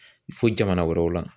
Fo jamana wɛrɛw la